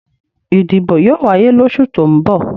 Ìdìbò yóò wáyé losu tó ń bọ̀